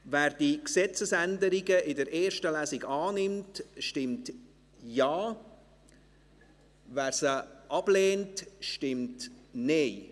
Wer diese Gesetzesänderungen in der ersten Lesung annimmt, stimmt Ja, wer sie ablehnt, stimmt Nein.